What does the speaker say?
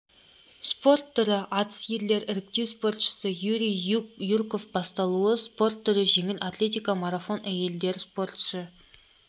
спорт түрі атыс ерлер іріктеу спортшы юрий юрков басталуы спорт түрі жеңіл атлетика марафон әйелдер спортшы